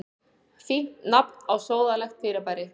Fínt nafn á sóðalegt fyrirbæri.